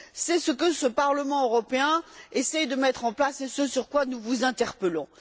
C'est ce que ce Parlement européen essaie de mettre en place et ce sur quoi nous vous interpellons.